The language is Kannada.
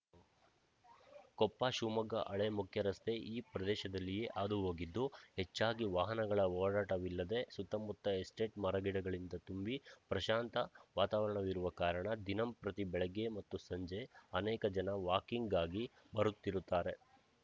ಕೊಪ್ಪ ಶಿವಮೊಗ್ಗ ಹಳೆ ಮುಖ್ಯರಸ್ತೆ ಈ ಪ್ರದೇಶದಲ್ಲಿಯೇ ಹಾದುಹೋಗಿದ್ದು ಹೆಚ್ಚಾಗಿ ವಾಹನಗಳ ಓಡಾಟವಿಲ್ಲದೆ ಸುತ್ತಮುತ್ತ ಎಸ್ಟೇಟ್‌ ಮರಗಿಡಗಳಿಂದ ತುಂಬಿ ಪ್ರಶಾಂತ ವಾತಾವರಣವಿರುವ ಕಾರಣ ದಿನಂಪ್ರತಿ ಬೆಳಗ್ಗೆ ಮತ್ತು ಸಂಜೆ ಅನೇಕ ಜನ ವಾಕಿಂಗ್‌ಗಾಗಿ ಬರುತ್ತಿರುತ್ತಾರೆ